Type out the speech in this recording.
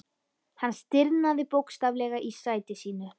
Hann stirðnaði bókstaflega í sæti sínu.